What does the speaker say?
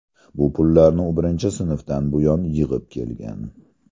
Bu pullarni u birinchi sinfdan buyon yig‘ib kelgan.